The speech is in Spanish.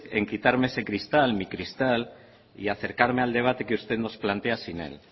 en quitarme ese cristal mi cristal y acercarme al debate que usted nos plantea sin él